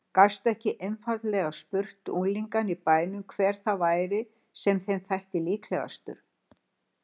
Gastu ekki einfaldlega spurt unglingana í bænum hver það væri sem þeim þætti líklegastur?